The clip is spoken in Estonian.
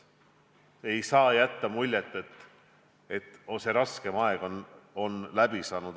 Ei saa jätta muljet, et raskem aeg on läbi.